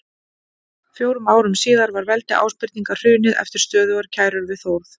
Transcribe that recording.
Fjórum árum síðar var veldi Ásbirninga hrunið eftir stöðugar skærur við Þórð.